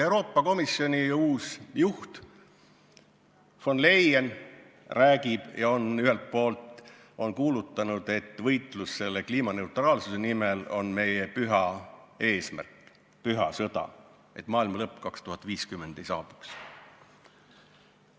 Euroopa Komisjoni uus juht von Leyen räägib ja on kuulutanud, et võitlus kliimaneutraalsuse nimel on meie püha eesmärk, püha sõda, selleks et 2050. aastal maailmalõpp ei saabuks.